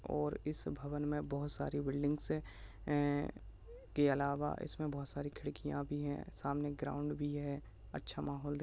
और इस भवन में बहोत सारी बिल्डिंगस से हैं के अलावा इसमे बहोत सारी खिड़कियाँ भी हैं सामने ग्राउंड भी है अच्छा माहौल दिख --